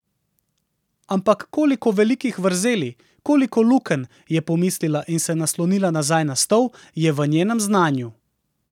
Ampak koliko velikih vrzeli, koliko lukenj, je pomislila in se naslonila nazaj na stol, je v njenem znanju!